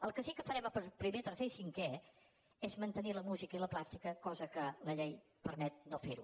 el que sí que farem a primer tercer i cinquè és mantenir la música i la plàstica cosa que la llei permet no fer ho